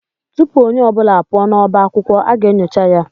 Tụpụ ọnye ọbula apuo n'ọbá akwụkwọ aga enyocha ya